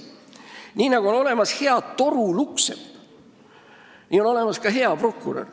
Nii nagu on olemas hea torulukksepp, on olemas ka hea prokurör.